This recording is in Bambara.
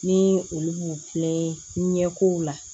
Ni olu b'u filɛ ɲɛko la